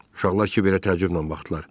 Uşaqlar Kiverə təəccüblə baxdılar.